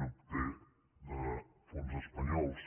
n’obté de fons espanyols